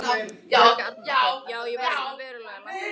Helga Arnardóttir: Já er verðið svona verulega lækkað?